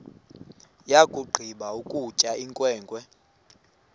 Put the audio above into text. yakugqiba ukutya inkwenkwe